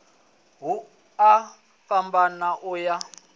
ku a fhambana u ya